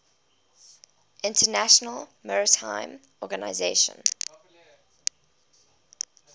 international maritime organization